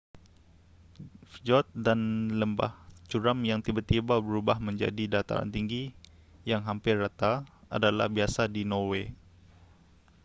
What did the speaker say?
fjord dan lembah curam yang tiba-tiba berubah menjadi dataran tinggi yang hampir rata adalah biasa di norway